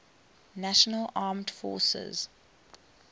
national armed forces